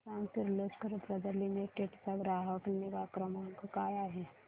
मला सांग Kirloskar brother limited चा ग्राहक निगा क्रमांक काय आहे